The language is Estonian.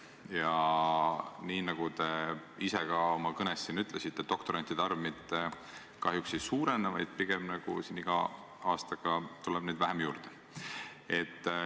Ja nagu te ise ka oma kõnes ütlesite, doktorantide arv kahjuks ei suurene, pigem tuleb neid iga aastaga vähem juurde.